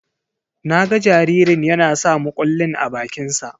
Na ga jaririn yana sa mukullin a bakinsa.